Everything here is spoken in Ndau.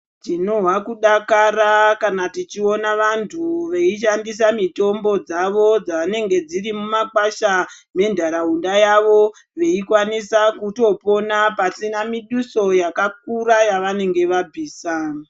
Tinohwa kudakara kana tichiona vanthu veishandisa mitombo dzavo dzavanenge dziri mumimakwasha mentaraunda yavo veikwanisa kutopona pasina miduso yakakura yavanenge vabvisa.